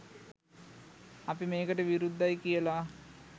අපි මේකට විරුද්ධයි කියල